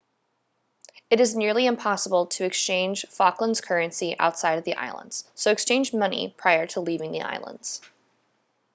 it is nearly impossible to exchange falklands currency outside of the islands so exchange money prior to leaving the islands